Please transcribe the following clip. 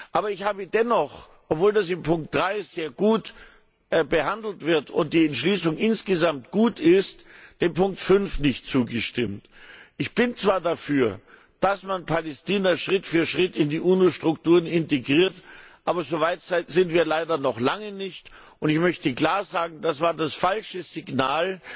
Aber ich habe dennoch obwohl das in Ziffer 3 sehr gut behandelt wird und die Entschließung insgesamt gut ist gegen Ziffer 5 gestimmt. Ich bin zwar dafür, dass man Palästina Schritt für Schritt in die UNO Strukturen integriert, aber so weit sind wir leider noch lange nicht. Und ich möchte klar sagen Das war das falsche Signal